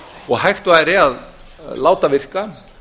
og hægt væri að láta virka